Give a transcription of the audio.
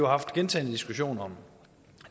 haft gentagne diskussioner om